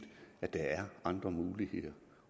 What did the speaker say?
at der er andre muligheder